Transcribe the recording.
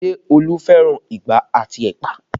Ṣé Olu fẹ́ràn igbá àti ẹ̀pà?